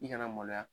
I kana maloya